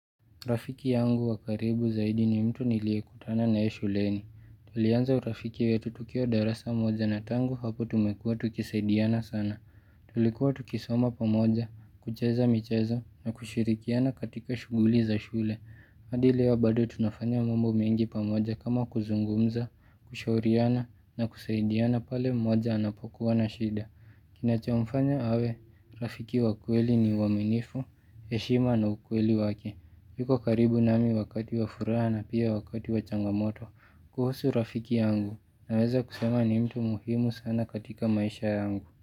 Rafiki yangu wakaribu zaidi ni mtu niliyekutana na yeye shuleni. Tulianza urafiki wetu tutukiwa darasa moja na tangu hapo tumekuwa tukisaidiana sana. Tulikuwa tukisoma pamoja, kucheza michezo na kushirikiana katika shughuli za shule. Hadi leo bado tunafanya mambo mengi pamoja kama kuzungumza, kushauriana na kusaidiana pale mmoja anapokuwa na shida. Kina chomfanya awe, rafiki wa kweli ni uaminifu, heshima na ukweli wake yuko karibu nami wakati wa furaha na pia wakati wa changamoto kuhusu rafiki yangu na weza kusema ni mtu muhimu sana katika maisha yangu.